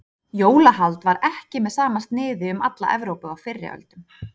jólahald var ekki með sama sniði um alla evrópu á fyrri öldum